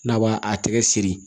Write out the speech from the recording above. N'a b'a a tɛgɛ siri